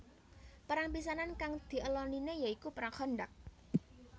Perang pisanan kang diélonine ya iku Perang Khandaq